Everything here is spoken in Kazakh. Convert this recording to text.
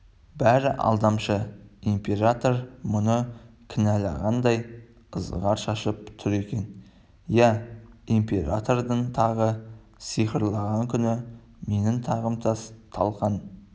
бәрі алдамшы император мұны кінәлағандай ызғар шашып тұр екен иә императордың тағы сықырлаған күні менің тағымтас-талқан